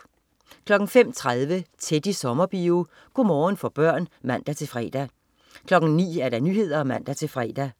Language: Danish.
05.30 Teddy Sommerbio. Go' morgen for børn (man-fre) 09.00 Nyhederne (man-fre)